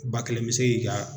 Ba kelen me se k'i ka